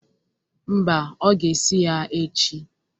Mba, ọ ga-esi ya echi.